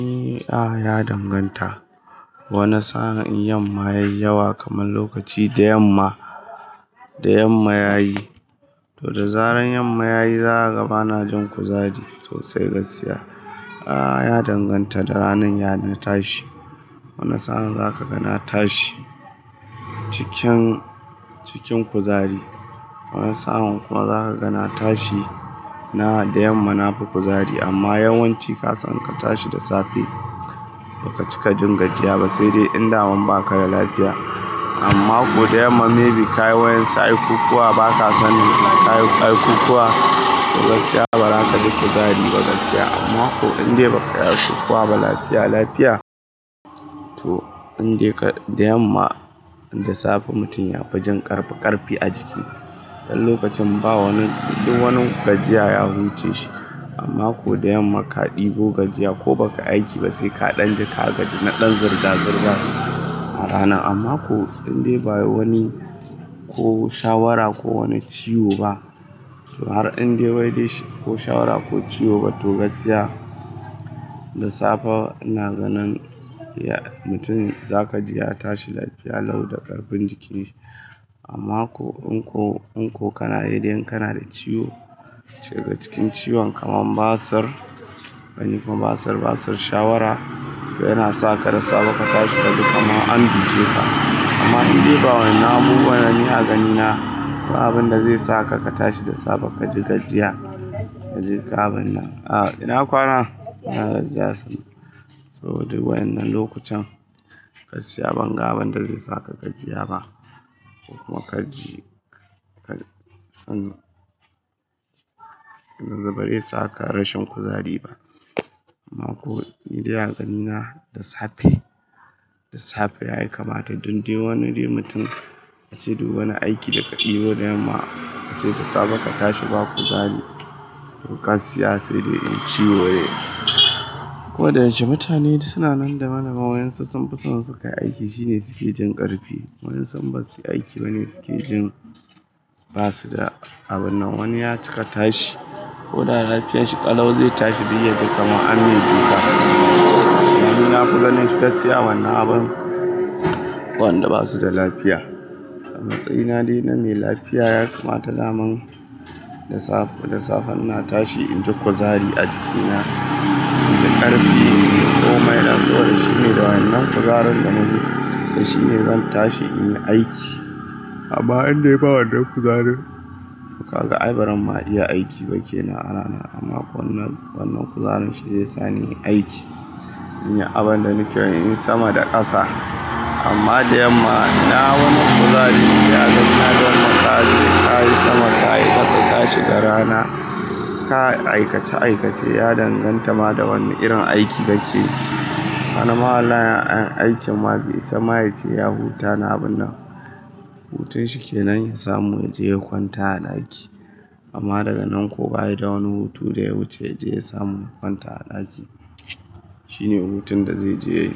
A'a, ya danganta. Wane sa'an in yamma yi yawa kamar lokaci da yamma, da yamma yayi. To da zaran yamma yayi, zakaga ba na jin kuzari sosai gaskiya. A'a, ya danganta da ranar ya na tashi. Wane sa'an zaka gana tashi cikin, cikin kuzari. Wane sa'an kuma zaka gana tashi ina da yamma na fi kuzari amma yawanci ka san ka tashi da safe, ba ka cika jin gajiya ba sai dai in da wan ba ka da lafiya. Amma ko da yamma maybe ka yi wa'insu aikukuwa, ba ka san in ka yi aikukuwa, to gaskiya ba za ka ji kuzari ba gaskiya. Amma ko in dai ba ka yi aikukuwa ba, lafiya, lafiya, to in dai ka-- da yamma da safe mutum ya fi jin ƙarfi, ƙarfi a jiki. Dan lokacin ba wani, duk wani gajiya ya wuce shi. Amma ko da yamma ka ɗebo gajiya ko baka aiki ba, sai ka ɗan ji ka gajina ɗan zirga zirgar a rana. Amma ko in dai ba wai wani ko shawara ko wani ciwo ba, to har in dai wai dai ko shawara ko ciwo ba to gaskiya, da safe ina ganin ya-- mutum za ka ji ya tashi lafiya lau da ƙarfin jiki. Amma ko in ko, in ko kana yi dai kana da ciwo, cike cikin ciwon kamar basir, wani kuma basir, basir shawara, yana sa ka da safe ka tashi ka ji kamar an buge ka. Amma in dai ba wannan abubuwan, ni a ganina, ko abin da zai sa ka, ka tashi da safe ka ji gajiya, ka ji ga abin nan. A'a, ina kwana? Ina gajiya sosai. To duk wannan lokucin, gaskiya ban ga abin da zai saka ka jiya ba. Kuma ka ji, ka san, yanzu bare saka rashin kuzari ba. Amma ko in dai a ganina da safe, da safe yayi kamata in dai wani dai mutum ace duk wani aiki da ka ɗebo da yamma, ace da safe ka tashi ba kuzari, to gaskiya sai dai in ciwo ne. Ko da yaushe mutane duk suna nan da mana, wa'incin sun fi son sukayi aiki shine suke jin ƙarfi. Wa'insu basu yi aiki bane suke jin ba su da abin nan. Wani ya cika tashi. Ko da lafiyanshi ƙalau zai tashi duk yadda kamar an mai buge ka. Da ni na kuga nan gaskiya wannan abun, wanda basu da lafiya. A matsayina dai na mai lafiya ya kamata daman da safe, da safe ina tashi in ji kuzari a jikina. In ji ƙarfi, in ji komai. To shi ne dawan nan kuzarin da na ji. To shi ne zan tashi in yi aiki. Amma in dai ba wannan kuzarin, to ka ga ai baran ma ɗiya aiki ba ke nan a rana. Amma ko wannan, wannan kuzarin shine yasa na yi aiki. Inyi abin da na ke so in yi sama da ƙasa. Amma da yamma, ina wannan kuzari, ya ganni na gama ƙare. Ka yi sama, ka yi ƙasa, ka shiga rana. Ka yi aikace aikace, ya danganta ma da wane irin aiki kake. Wani ma wallahi in aikin mage ya isa mayace ya huta na abun nan. Hutun shi ke nan ya samu ya je ya kwanta a ɗaki. Amma daga nan kuwa ai da wani hutu da ya wuce ya je ya samu ya kwanta a ɗaki. Shi ne hutun da zai je ya,